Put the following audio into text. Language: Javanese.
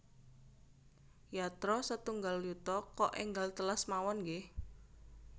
Yatra setunggal yuta kok enggal telas mawon nggeh